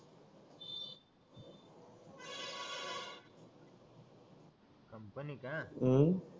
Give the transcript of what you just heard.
company का अं